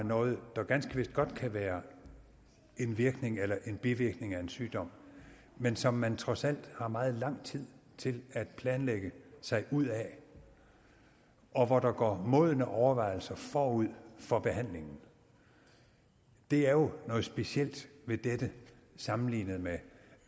noget der ganske vist godt kan være en virkning eller en bivirkning af en sygdom men som man trods alt har meget lang tid til at planlægge sig ud af og hvor der går modne overvejelser forud for behandlingen det er jo noget specielt ved dette sammenlignet med